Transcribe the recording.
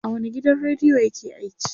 a wani gidan radiyo yake aiki?